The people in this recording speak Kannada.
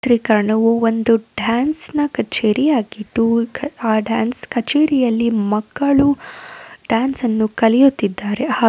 ಚಿತ್ರೀಕರಣವು ಒಂದು ಡಾನ್ಸ್ ನ ಕಚೇರಿ ಆಗಿದ್ದು ಆ ಡಾನ್ಸ್ ಕಚೇರಿಯಲ್ಲಿ ಮಕ್ಕಳು ಡಾನ್ಸ್ ಅನ್ನು ಕಲಿಯುತ್ತಿದ್ದಾರೆ --